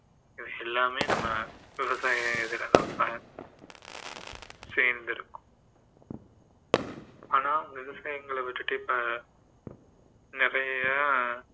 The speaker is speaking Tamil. இதெல்லாமே நம்ம விவசாய இதுல தான் சேர்ந்திருக்கும் ஆனால் விவசாயங்கள விட்டுட்டு இப்போ நிறைய